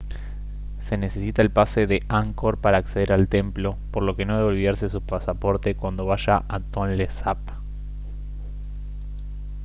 se necesita el pase de angkor para acceder al templo por lo que no debe olvidarse su pasaporte cuando vaya a tonle sap